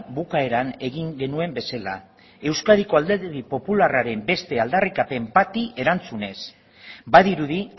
bukaeran egin genuen bezala euskadiko alderdi popularraren beste aldarrikapen bati erantzunez badirudi